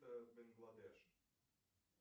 бангладеш